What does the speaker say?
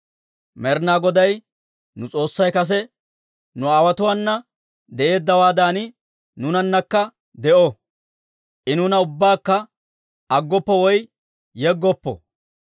Med'inaa Goday nu S'oossay kase nu aawotuwaana de'eeddawaadan, nuunanakka de'o; I nuuna ubbakka aggoppo woy yeggoppo.